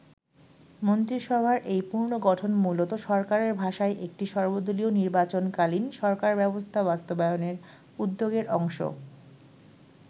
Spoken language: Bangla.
মন্ত্রিসভার এই পুনর্গঠন মূলত সরকারের ভাষায় একটি সর্বদলীয় নির্বাচন-কালীন সরকার ব্যবস্থা বাস্তবায়নের উদ্যোগের অংশ।